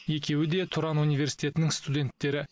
екеуі де тұран университетінің студенттері